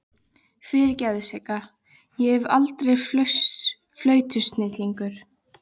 Fyrirgefðu Sigga, ég verð aldrei flautusnillingur.